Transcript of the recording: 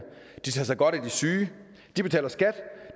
de tager sig godt af de syge de betaler skat